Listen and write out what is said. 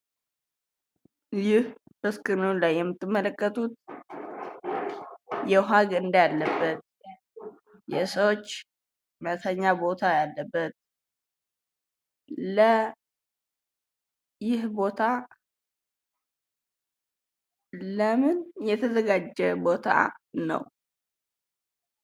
ይህ በስክሪኑ ላይ የምትመለከቱት የውሃ ገንዳ ያለበት የሰዎች መተኛ ቦታ ያለበት ይህ ቦታ ለምን የተዘጋጀ ቦታ ነው?